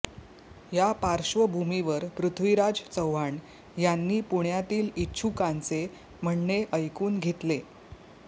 या पार्श्वभूमीवर पृथ्वीराज चव्हाण यांनी पुण्यातील इच्छूकांचे म्हणणे ऐकून घेतले